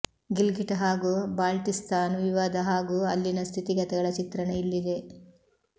ಗಿಲ್ಗಿಟ್ ಹಾಗೂ ಬಾಲ್ಟಿಸ್ತಾನ್ ವಿವಾದ ಹಾಗೂ ಅಲ್ಲಿನ ಸ್ಥಿತಿಗತಿಗಳ ಚಿತ್ರಣ ಇಲ್ಲಿದೆ